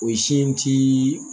O sin tii